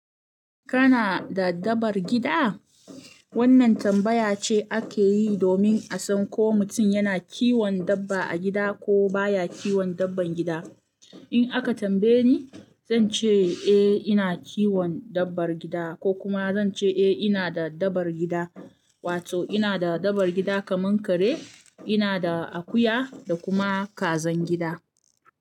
Kana da dabbar gida? Wannan tambaya ce ake yi domin a san ko mutum yana kiwon dabba a gida ko baya kiwon dabban gida. In aka tambaye ni, zan ce eh ina kiwon dabbar gida ko kuma zan ce eh ina da dabbar gida, wato ina da dabbar gida kaman kare, ina da akuya da kuma kazan gida.